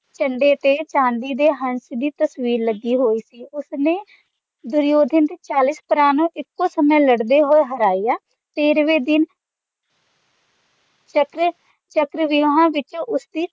ਕੰਧੇ ਤੇ ਚਾਂਦੀ ਦੇ ਹੰਸ ਦੀ ਤਸਵੀਰ ਲੱਗੀ ਹੋਈ ਸੀ ਉਸਨੇ ਦੁਰਯੋਧਨ ਦੇ ਚਾਲੀਸ ਭਰਾ ਇੱਕੋ ਸਮੇਂ ਲੜਦੇ ਹੋਏ ਹਰਾਇਆ ਤੇਰ੍ਹਵੇਂ ਦਿਨ ਚੱਕ੍ਰ ਚੱਕ੍ਰਵਿਊਹਾਂ ਵਿੱਚ ਉਸਦੀ